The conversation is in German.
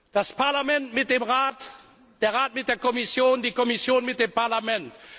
Das Parlament mit dem Rat, der Rat mit der Kommission, die Kommission mit dem